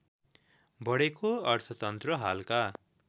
बढेको अर्थतन्त्र हालका